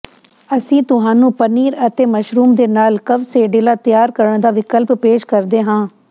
ਅਸੀਂ ਤੁਹਾਨੂੰ ਪਨੀਰ ਅਤੇ ਮਸ਼ਰੂਮ ਦੇ ਨਾਲ ਕਵਸੇਡਿਲਾ ਤਿਆਰ ਕਰਨ ਦਾ ਵਿਕਲਪ ਪੇਸ਼ ਕਰਦੇ ਹਾਂ